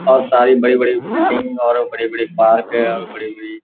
और सारी बड़ी-बड़ी बिल्डिंग और बड़े-बड़े पार्क है और बड़ी-बड़ी --